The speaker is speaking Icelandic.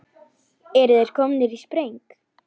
Eru þeir komnir í spreng?